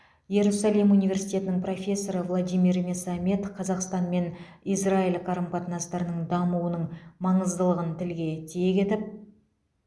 иерусалим университетінің профессоры владимир месамед қазақстан мен израиль қарым қатынастарының дамуының маңыздылығын тілге тиек етіп